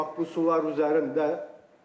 Bax bu sular üzərində.